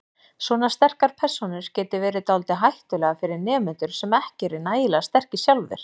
Svona sterkar persónur geti verið dálítið hættulegar fyrir nemendur sem ekki eru nægilega sterkir sjálfir.